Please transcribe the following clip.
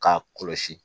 K'a kɔlɔsi